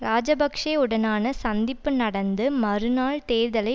இராஜபக்ஷவுடனான சந்திப்பு நடந்து மறுநாள் தேர்தலை